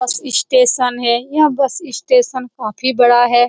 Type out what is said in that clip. बस स्टेशन है यह बस स्टेशन काफी बड़ा है।